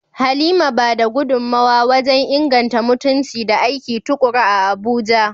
Halima ba da gudunmawa wajen inganta mutunci da aiki tuƙuru a Abuja.